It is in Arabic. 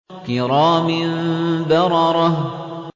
كِرَامٍ بَرَرَةٍ